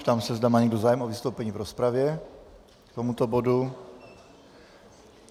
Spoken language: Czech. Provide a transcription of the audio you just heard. Ptám se, zda má někdo zájem o vystoupení v rozpravě k tomuto bodu.